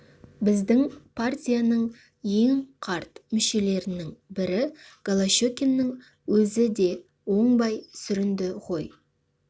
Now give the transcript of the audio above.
біздің партияның ең қарт мүшелерінің бірі голощекиннің өзі де оңбай сүрінді ғой